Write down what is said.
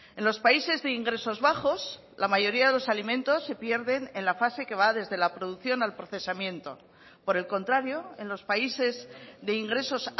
en los países de ingresos bajos la mayoría de los alimentos se pierden en la fase que va desde la producción al procesamiento por el contrario en los países de ingresos